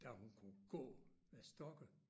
Da hun kunne gå med stokke